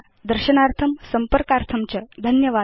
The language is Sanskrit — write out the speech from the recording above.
दर्शनार्थं संपर्कार्थं च धन्यवादा